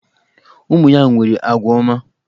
Ụmụ ya nwere agwa ọma.